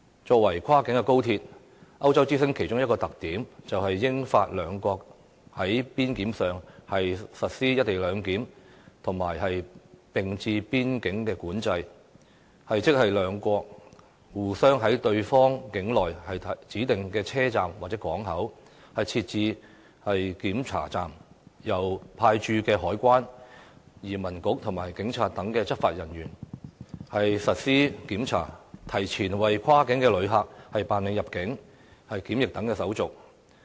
作為跨境高鐵，歐洲之星其中一個特點，就是英法兩國在邊檢上實施"一地兩檢"的"並置邊境管制"，即兩國互相在對方境內指定的車站或港口，設置檢查站，由派駐該國的海關、移民局和警察等執法人員進行檢查，提前為跨境旅客辦理入境和檢疫等手續。